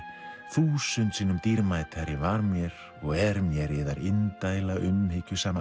þúsund sinnum dýrmætari var mér og er mér yðar indæla